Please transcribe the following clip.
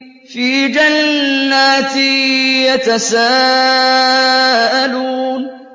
فِي جَنَّاتٍ يَتَسَاءَلُونَ